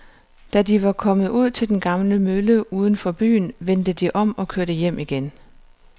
Da de var kommet ud til den gamle mølle uden for byen, vendte de om og kørte hjem igen.